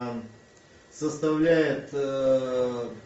составляет